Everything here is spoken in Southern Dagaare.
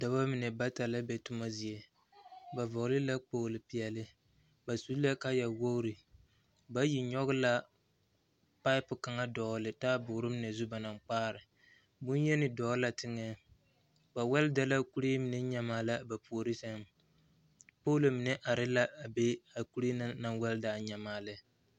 Dɔba mine la ziŋ ba toma zie ba vɔgle la kpogle peɛle ba su la kaaya wogre bayi nyɔge la paɛpo kaŋa dɔgle taaboore mine ne zu ba na kpaare boŋyeni dɔgle la teŋɛ ba wɛlda la kuree mine nyamaa lɛ poolo mine are la a be a zie na naŋ mel a nyamaa lɛ.